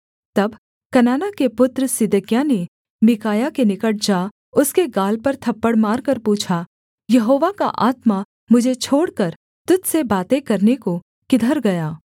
तब कनाना के पुत्र सिदकिय्याह ने मीकायाह के निकट जा उसके गाल पर थप्पड़ मारकर पूछा यहोवा का आत्मा मुझे छोड़कर तुझ से बातें करने को किधर गया